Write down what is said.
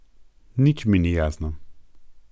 Nič mi ni jasno.